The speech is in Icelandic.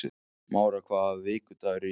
Mára, hvaða vikudagur er í dag?